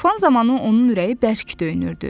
Fön zamanı onun ürəyi bərk döyünürdü.